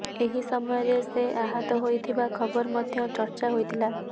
ଏହି ସମୟରେ ସେ ଆହତ ହୋଇଥିବା ଖବର ମଧ୍ୟ ଚର୍ଚ୍ଚା ହୋଇଥିଲା